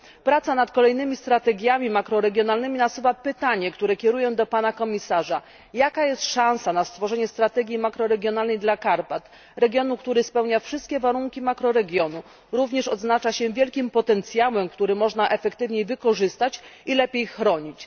Praca nad kolejnymi strategiami makroregionalnymi nasuwa pytanie, które kieruję do Pana Komisarza czy istnieje szansa na stworzenie strategii makroregionalnej dla Karpat regionu, który spełnia wszystkie warunki makroregionu, odznacza się również wielkim potencjałem, który można efektywniej wykorzystać i lepiej chronić?